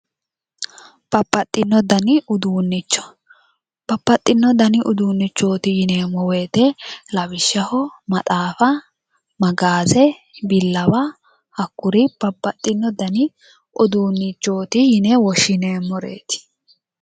babbaxino dani uduunnicho babbaxino dani uduunnichoti yineemmo woyte maxaafa, magaze, billawa hakkuri babbaxino dani uduunnichoti yine woshshineemmoreeti.